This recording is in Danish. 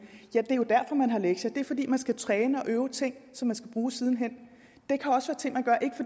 ja det er jo derfor man har lektier det er fordi man skal træne og øve ting som man skal bruge siden hen